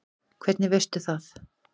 Hvernig veistu það?